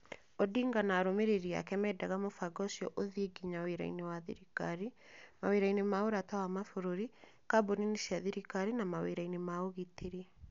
Odinga na arũmĩrĩri ake meendaga Mũbango ũciio uthiie nginya wĩra-inĩ wa thirikari, mawĩra-inĩ ma ũrata wa mabũrũri, kambuni-inĩ cia thirikari na mawĩra-inĩ ma ũgitĩri.